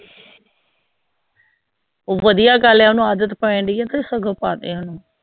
ਬਦਿਆ ਗੱਲ ਹੈ ਓਨੂੰ ਆਦਤ ਪੈਂਦੀ ਆ